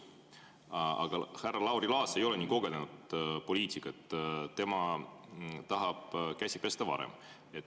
Härra Lauri Laats ei ole nii kogenud poliitik, tema tahab käsi pesta varem.